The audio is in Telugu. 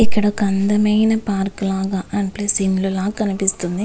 ఇక్కడ ఒక అందమైన పార్కు లాగ అండ్ ప్లస్ ఇల్లు లాగ కనిపిస్తుంది.